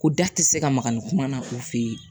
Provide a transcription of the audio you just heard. Ko da tɛ se ka maga ni kuma na o fe yen